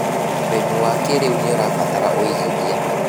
ũrĩmi wa kĩrĩu nĩũrabatara ũigithia.